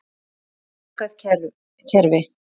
Þetta er lokað kerfi.